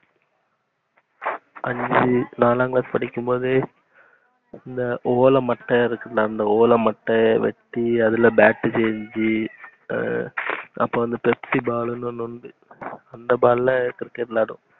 அஞ்சு நாலாம் class படிக்கும்போது இந்த ஓலமட்ட இருக்குதுல, அந்த ஓலமட்ட வச்சு அதுல bat செஞ்ச அஹ் அப்போ Pepsi ball நு உண்டு. அந்த ball ல cricket விளையாடுவோம்.